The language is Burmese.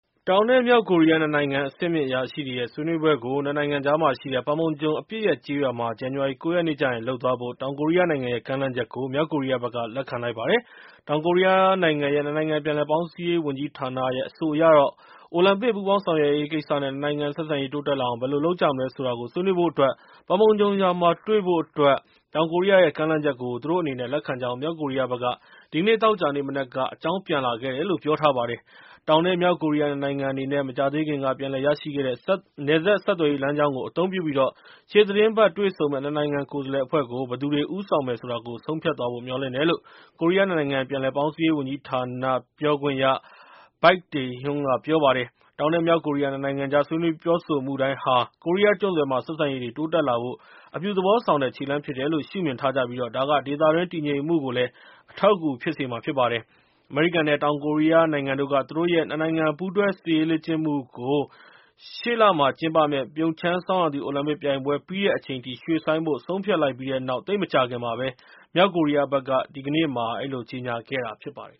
တောင်နဲ့ မြောက်ကိုရီးယား ၂ နိုင်ငံ အဆင့်မြင့်အရာရှိတွေရဲ့ ဆွေးနွေးပွဲကို ၂ နိုင်ငံကြားမှာရှိတဲ့ Panmunjom အပစ်ရပ်ကျေးရွာမှာ ဇန်နဝါရီလ ၉ ရက်နေ့ကျရင်လုပ်သွားဖို့ တောင်ကိုရီးယားနိုင်ငံရဲ့ကမ်းလှမ်းချက်ကို မြောက်ကိုရီးယားက လက်ခံလိုက်ပါတယ်။ တောင်ကိုရီးယားနိုင်ငံရဲ့ ၂ နိုင်ငံပြန်လည်ပေါင်းစည်းရေးဝန်ကြီးဌာနရဲ့ အဆိုအရတော့ ၊ အိုလံပစ် ပူးပေါင်းဆောင်ရွက်ရေးကိစ္စနဲ့ ၂ နိုင်ငံ ဆက်ဆံရေးတိုးတက်လာအောင် ဘယ်လိုလုပ်ကြမလဲဆိုတာကို ဆွေးနွေးဖို့အတွက် Panmunjon ရွာမှာတွေ့ဖို့ တောင်ကိုရီးယားရဲ့ ကမ်းလှမ်းချက်ကို သူတို့အနေနဲ့ လက်ခံကြောင်း မြောက်ကိုရီးယားဘက်က ဒီကနေ့ သောကြာနေ့မနက်က အကြောင်းပြန်လာခဲ့တယ်လို့ ပြောထားပါတယ်။ တောင် နဲ့ မြောက်ကိုရီးယား ၂ နိုင်ငံအနေနဲ့ မကြာသေးခင်က ပြန်လည်ရရှိခဲ့တဲ့ နယ်စပ်ဆက်သွယ်ရေးလမ်းကြောင်းကို အသုံးပြုပြီး ရှေ့သီတင်းပတ်တွေ့ဆုံမယ့် ၂ နိုင်ငံကိုယ်စားလှယ်အဖွဲ့ကို ဘယ်သူတွေဦးဆောင်မယ်ဆိုတာကို ဆုံးဖြတ်သွားဖို့ မျှော်လင့်တယ်လို့ ကိုရီးယား ၂ နိုင်ငံ ပြန်လည်ပေါင်းစည်းရေးဝန်ကြီးဌာန Baik Tae-Hyun ကပြောပါတယ်။ တောင် နဲ့ မြောက်ကိုရီးယား ၂ နိုင်ငံကြား ဆွေးနွေးပြောဆိုမှုတိုင်းဟာ ကိုရီးယားကျွန်းဆွယ်မှာ ဆက်ဆံရေးတွေတိုးတက်လာဖို့ အပြုသဘောဆောင်တဲ့ ခြေလှမ်းဖြစ်တယ်လို့ ရှုမြင်ထားကြပြီး၊ ဒါက ဒေသတွင်းတည်ငြိမ်မှုကိုလည်း အထောက်အကူဖြစ်စေမှာဖြစ်ပါတယ်။ အမေရိကန် နဲ့ တောင်ကိုရီးယားနိုင်ငံတို့က သူတို့ရဲ့ ၂ နိုင်ငံပူးတွဲစစ်ရေးလေ့ကျင့်မှုတွေကို ရှေ့လမှာကျင်းပမယ့် ပြုံချမ်းဆောင်းရာသီ အိုလံပစ်ပြိုင်ပွဲ ပြီးတဲ့အချိန်ထိ ရွှေ့ဆိုင်းဖို့ ဆုံးဖြတ်လိုက်ပြီးတဲ့နောက် သိပ်မကြာခင်မှာပဲ မြောက်ကိုရီးယားဘက်က ဒီကနေ့ ကြေငြာခဲ့တာဖြစ်ပါတယ်